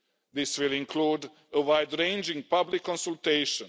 This will include a wide ranging public consultation.